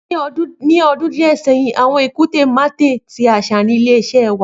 Ni ọdun diẹ sẹhin awọn ikunte matte ti aṣa ni ile-iṣẹ ẹwa